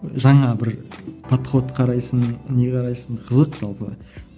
жаңа бір подход қарайсың не қарайсың қызық жалпы